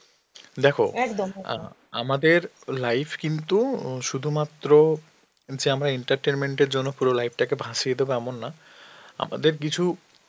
দেখো অ্যাঁ আমাদের life কিন্তু উম শুধুমাত্র আমরা entertainment এর জন্য পুরো life টাকে ভাসিয়ে দেবো এমন না, আমাদের কিছু